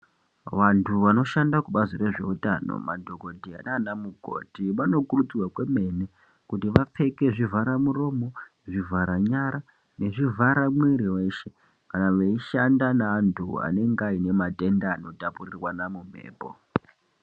Vantu vanoshanda kubazi rezveutano madhokoteya nana mukoti vanokurudzirwa kwemene kuti vapfekezvivhara muromo, zvivhara nyara nezvivhara mwiri weshe kana veishanda neantu anenge aide matenda anotapurirwana mumhepo.